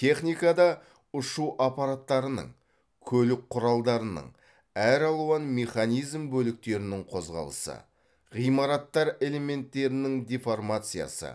техникада ұшу аппараттарының көлік құралдарының әр алуан механизм бөліктерінің қозғалысы ғимараттар элементтерінің деформациясы